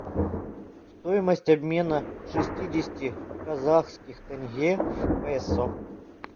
стоимость обмена шестидесяти казахских тенге в песо